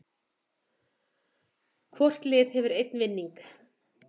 Hvort lið hefur einn vinning